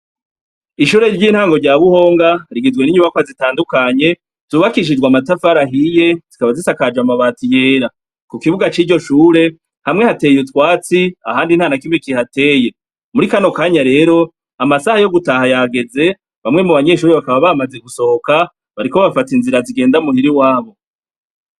Ishure ry'intango rya Buhonga, rigizwe n'inyubakwa zitandukanye, zubakishijwe amatafari ahiye , zikaba zisakajwe amabati yera. kukibuga c'iryo shure, hamwe hateye utwatsi, ahandi ntanakimwe kihateye. Muri kano kanya rero, amasaha yo gutaha yageze, bamwe mubanyeshure bakaba bamaze gusohoka , bariko bafata inzira zigenda muhir'iwabo.